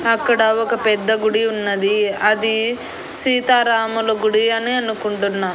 అక్కడ ఒక పెద్ద గుడి ఉన్నది అది సీతారాముల గుడి అని అనుకుంటున్నా.